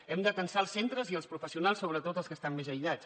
hem d’atansar els centres i els professionals sobretot els que estan més aïllats